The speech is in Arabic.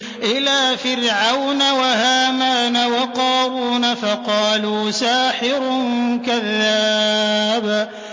إِلَىٰ فِرْعَوْنَ وَهَامَانَ وَقَارُونَ فَقَالُوا سَاحِرٌ كَذَّابٌ